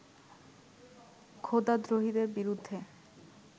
খোদাদ্রোহীদের বিরুদ্ধে